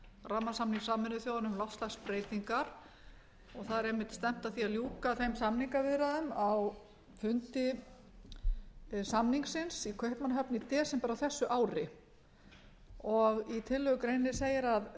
rammasamnings sameinuðu þjóðanna um loftslagsbreytingar og stefnt er að því að ljúki á fimmtánda aðildarríkjaþingi samningsins í kaupmannahöfn í desember á þessu ári sérstaklega skal